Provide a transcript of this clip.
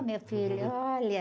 Oh, meu filho, olha.